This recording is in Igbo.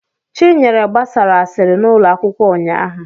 Chinyere gbasara asịrị n'ụlọ akwụkwọ ụnyahụ.